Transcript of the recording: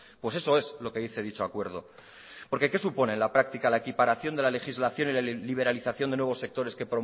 pues eso es lo que dice dicho acuerdo porque qué supone la práctica la equiparación de la legislación y la liberalización de nuevos sectores que